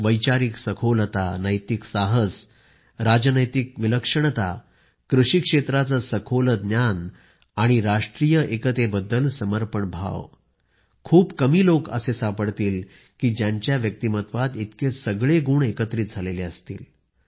वैचारिक सखोलता नैतिक साहस राजनैतिक विलक्षणता कृषी क्षेत्राचे सखोल ज्ञान आणि राष्ट्रीय एकतेबद्दल समर्पण भाव खूप कमी लोक सापडतील की ज्यांच्या व्यक्तिमत्त्वात इतके सगळे गुण एकत्रित झालेले असतील